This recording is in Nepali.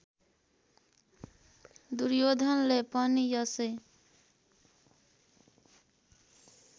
दुर्योधनले पनि यसै